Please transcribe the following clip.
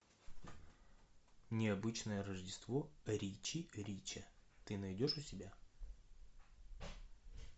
необычное рождество ричи рича ты найдешь у себя